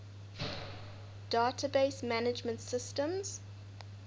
database management systems